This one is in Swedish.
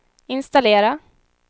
installera